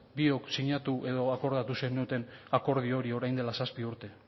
biok sinatu edo akordatu zenuten akordio hori orain dela zazpi urte